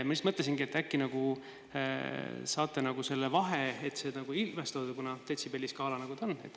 Ma mõtlesingi, et äkki saate seda ilmestada, kuna detsibelliskaala on, nagu ta on.